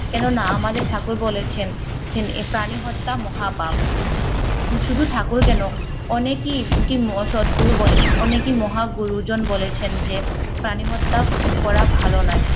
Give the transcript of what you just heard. কেন না আমাদের ঠাকুর বলেছেন ছেন এ প্রাণী হত্যা মহাপাপ শুধু ঠাকুর কেনো অনেকই কি অসদ গুরু বলেন অনেকই মহা গুরুজন বলেছেন যে প্রাণী হত্যা উহ করা ভালো নয়